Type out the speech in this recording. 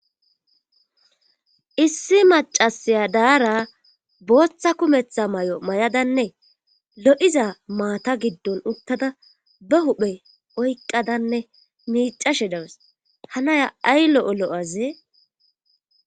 issi macasiya daara booththa kumetha mayo mayadanne lo'iza maata giddon uttada ba huphe oyqqadanne miicashe dawes hanaya ay lo'o lo'azee